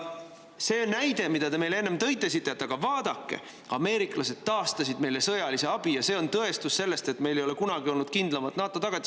Te tõite meile enne näite, et aga vaadake, ameeriklased taastasid sõjalise abi meile ja see on tõestus selle kohta, et meil ei ole kunagi olnud kindlamat NATO tagatist.